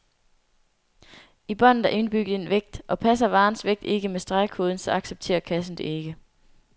I båndet er indbygget en vægt, og passer varens vægt ikke med stregkoden, så accepterer kassen det ikke.